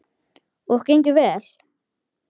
Og gengur vel.